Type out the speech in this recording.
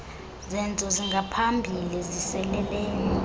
zenzo zingaphambili ziseleleyo